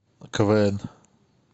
квн